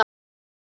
Elsku móðir.